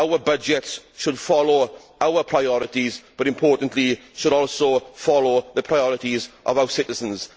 Our budget should follow our priorities, but it should also follow the priorities of our citizens.